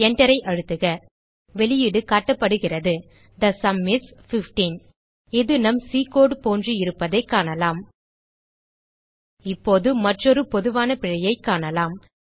Enterஐ அழுத்துக வெளியீடு காட்டப்படுகிறது தே சும் இஸ் 15 இது நம் சி கோடு போன்று இருப்பதைக் காணலாம் இப்போது மற்றொரு பொதுவான பிழையைக் காணலாம்